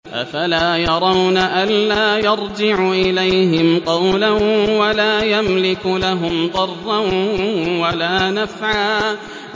أَفَلَا يَرَوْنَ أَلَّا يَرْجِعُ إِلَيْهِمْ قَوْلًا وَلَا يَمْلِكُ لَهُمْ ضَرًّا وَلَا نَفْعًا